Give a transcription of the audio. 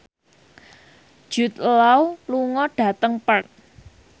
Jude Law lunga dhateng Perth